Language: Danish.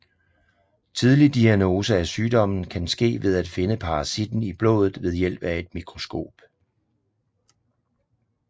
Tidlig diagnose af sygdommen kan ske ved at finde parasitten i blodet ved hjælp af et mikroskop